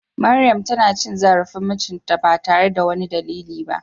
Maryam tana cin zarafin mijinta ba tare da wani dalili ba.